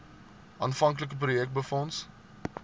aanvanklike projek befonds